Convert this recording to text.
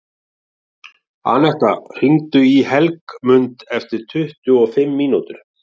Annetta, hringdu í Helgmund eftir tuttugu og fimm mínútur.